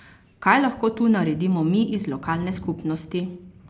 Kaj lahko tu naredimo mi iz lokalne skupnosti?